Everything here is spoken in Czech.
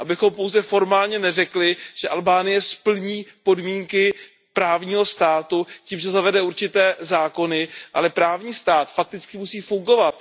Abychom pouze formálně neřekli, že Albánie splní podmínky právního státu tím, že zavede určité zákony, ale právní stát fakticky musí fungovat.